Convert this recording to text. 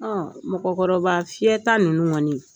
Ɔ mɔgɔkɔrɔba fiyɛta ninnu kɔni